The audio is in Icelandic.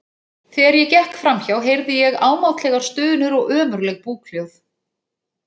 Þegar ég gekk fram hjá heyrði ég ámáttlegar stunur og ömurleg búkhljóð.